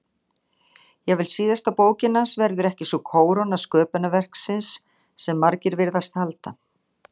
Jafnvel síðasta bókin hans verður ekki sú kóróna sköpunarverksins sem margir virðast halda.